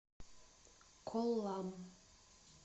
коллам